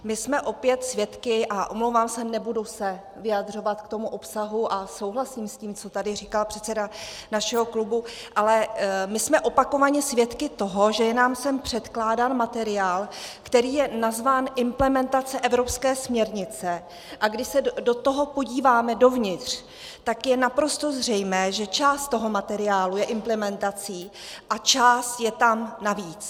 My jsme opět svědky, a omlouvám se, nebudu se vyjadřovat k tomu obsahu a souhlasím s tím, co tady říkal předseda našeho klubu, ale my jsme opakovaně svědky toho, že je nám sem předkládán materiál, který je nazván Implementace evropské směrnice, a když se do toho podíváme, dovnitř, tak je naprosto zřejmé, že část toho materiálu je implementací a část je tam navíc.